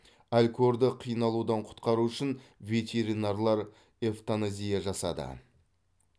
алькорды қиналудан құтқару үшін ветеринарлар эвтаназия жасады